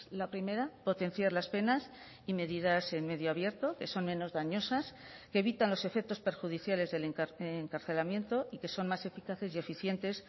la primera potenciar las penas y medidas en medio abierto que son menos dañosas que evitan los efectos perjudiciales del encarcelamiento y que son más eficaces y eficientes